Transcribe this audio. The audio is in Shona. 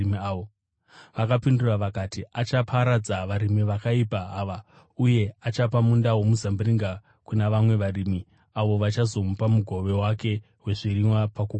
Vakapindura vakati, “Achaparadza varimi vakaipa ava, uye achapa munda womuzambiringa kuna vamwe varimi avo vachazomupa mugove wake wezvirimwa pakukohwa.”